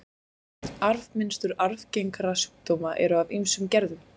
Arfmynstur arfgengra sjúkdóma eru af ýmsum gerðum.